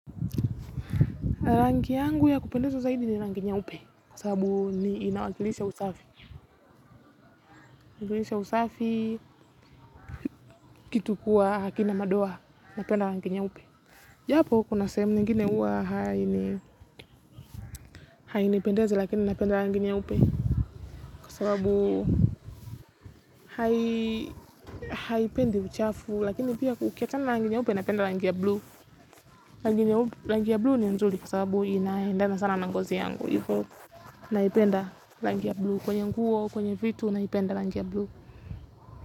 Rangi yangu ya kupendezwa zaidi ni rangi nyeupe kwa sababu ni inawakilisha usafi kitu kuwa hakina madoa napenda rangi nyeupe japo kuna sehemu ningine uwa hainipendezi lakini napenda rangi nyeupe kwa sababu haipendi uchafu lakini pia ku ukiachana rangi nyeupe napenda rangi ya blue rangi ya blue ni nzuli kwa sababu inaendana sana na ngozi yangu ivo naipenda rangi ya blue. Kwenye nguo, kwenye vitu naipenda rangi ya blue.